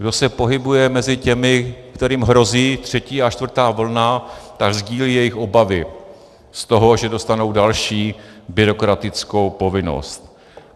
Kdo se pohybuje mezi těmi, kterým hrozí třetí a čtvrtá vlna, tak sdílí jejich obavy z toho, že dostanou další byrokratickou povinnost.